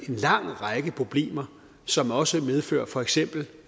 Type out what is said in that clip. en lang række problemer som også medfører for eksempel